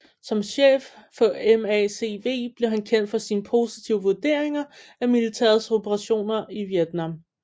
Som chef for MACV blev han kendt for sine positive vurderinger af militærets operationer i Vietnam